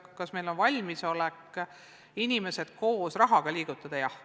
Kas meil on valmisolek inimesi koos rahaga liigutada?